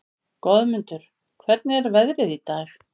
Goðmundur, hvernig er veðrið í dag?